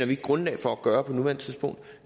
ikke grundlag for at gøre på nuværende tidspunkt